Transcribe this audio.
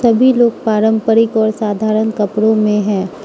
सभी लोग पारंपरिक और साधारण कपड़ों में है।